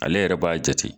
Ale yɛrɛ b'a jate